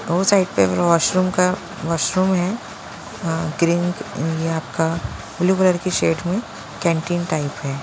वो साइड पे वॉशरूम का वॉशरूम है ग्रीन ये आपका ब्लू कलर की शेड में कैंटीन टाइप है।